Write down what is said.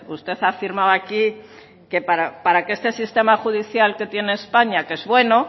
usted ha afirmado aquí que para que este sistema judicial que tiene españa que es bueno